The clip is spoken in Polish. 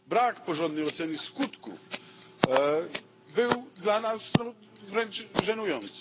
Brak porządnej oceny skutków był dla nas wręcz żenujący.